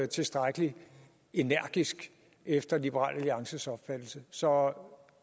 tilstrækkelig energisk efter liberal alliances opfattelse så